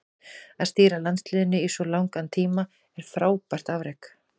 Að stýra landsliðinu í svo langan tíma er frábært afrek.